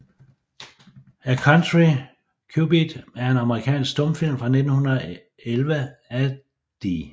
A Country Cupid er en amerikansk stumfilm fra 1911 af D